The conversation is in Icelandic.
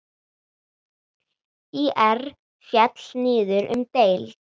ÍR féll niður um deild.